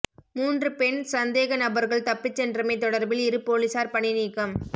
மூன்று பெண் சந்தேகநபர்கள் தப்பிச்சென்றமை தொடர்பில் இரு பொலிசார் பணிநீக்கம்